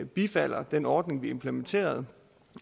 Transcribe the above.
bifalder den ordning vi implementerede